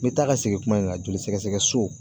N bɛ taa ka segin kuma in na joli sɛgɛsɛgɛso